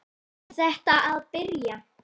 Er þetta að byrja?